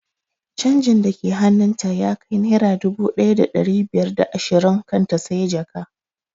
Canjin da ke hannun ta ya kai naira dubu ɗaya da ɗari biyar da ashirin kan ta siya jaka